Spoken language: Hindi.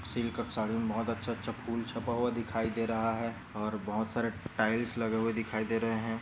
सिल्क साड़ी मे बहुत अच्छे अच्छे फुल छपा हुआ दिखाई दे रहा है और बहुत सारे टाइल्स लगे हुए दिखाई दे रहे है।